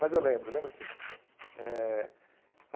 Mas eu lembro, lembro sim. Eh